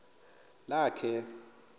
lakhe